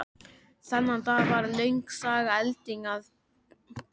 Þennan dag varð löng saga eldinum að bráð.